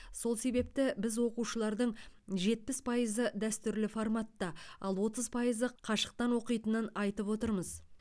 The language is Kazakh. сол себепті біз оқушылардың жетпіс пайызы дәстүрлі форматта ал отыз пайызы қашықтан оқитынын айтып отырмыз